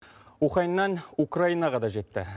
уханьнан украинаға да жетті